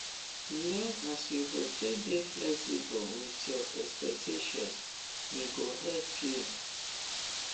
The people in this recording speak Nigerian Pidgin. learn as you go take dey flexible with your expectations e go help you